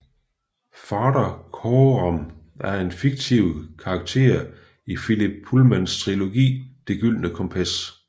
Farder Coram er en fiktiv karakter i Philip Pullmans trilogi Det gyldne kompas